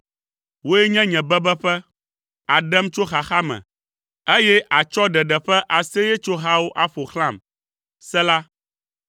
Wòe nye nye bebeƒe, àɖem tso xaxa me, eye àtsɔ ɖeɖe ƒe aseyetsohawo aƒo xlãm. Sela